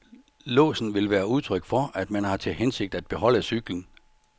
Låsen vil være udtryk for, at man har til hensigt at beholde cyklen.